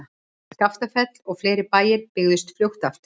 Skaftafell og fleiri bæir byggðust fljótt aftur.